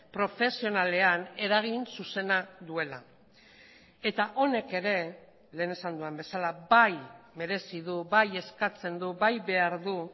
profesionalean eragin zuzena duela eta honek ere lehen esan dudan bezala bai merezi du bai eskatzen du bai behar du